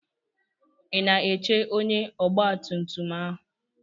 I na-eche ónyé ọgba tum tum ahụ?